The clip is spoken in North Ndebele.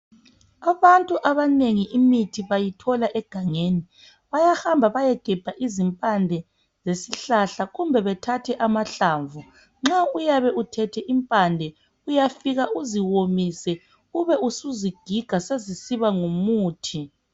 Abantu abanengi imithi bayithola egangeni bayahamba bayegebha izimpande zesihlahla kumbe bethathe amahlamvu Nxa uyabe uthethe impande uyafika uziwomise ube usuzigiga sezisiba ngumuthi